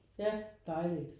Ja dejligt